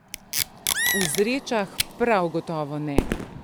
V Zrečah prav gotovo ne!